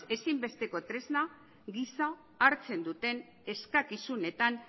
ezinbesteko tresna gisa hartzen duten eskakizunetan